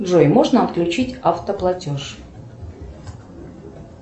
джой можно отключить автоплатеж